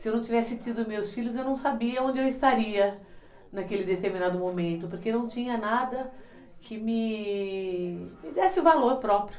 Se eu não tivesse tido meus filhos, eu não sabia onde eu estaria naquele determinado momento, porque não tinha nada que me desse valor próprio.